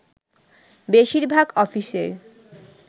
বেশিরভাগ অফিসেই